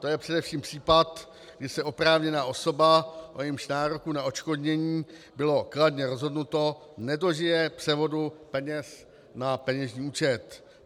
To je především případ, kdy se oprávněná osoba, o jejímž nároku na odškodnění bylo kladně rozhodnuto, nedožije převodu peněz na peněžní účet.